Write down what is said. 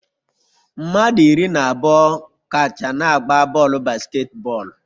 Mmadụ iri na abụọ kacha na-agba bọọlụ basketball